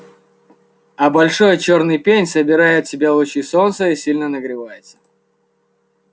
а большой чёрный пень собирает в себя лучи солнца и сильно нагревается